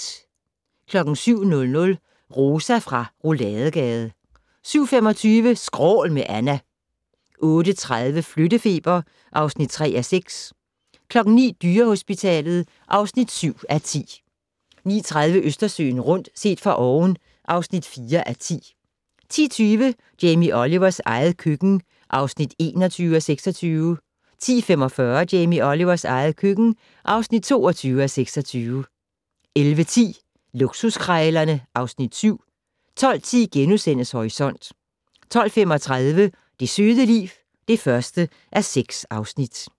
07:00: Rosa fra Rouladegade 07:25: Skrål med Anna 08:30: Flyttefeber (3:6) 09:00: Dyrehospitalet (7:10) 09:30: Østersøen rundt - set fra oven (4:10) 10:20: Jamie Olivers eget køkken (21:26) 10:45: Jamie Olivers eget køkken (22:26) 11:10: Luksuskrejlerne (Afs. 7) 12:10: Horisont * 12:35: Det søde liv (1:6)